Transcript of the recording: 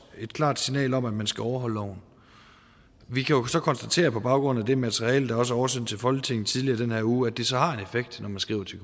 et klart signal om at man skal overholde loven vi kan så konstatere på baggrund af det materiale der også er oversendt til folketinget tidligere i den her uge at det så har en effekt når man skriver til